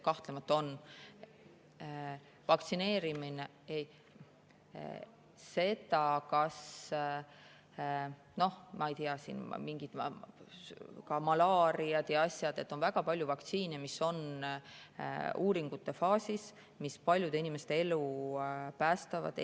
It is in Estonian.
Ma ei tea, on ka mingid malaariad ja asjad, on väga palju vaktsiine, mis on uuringute faasis ja mis paljude inimeste elu päästavad.